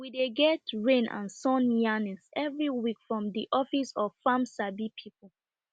we dey get rain and sun yarnings every week from de office of farm sabi people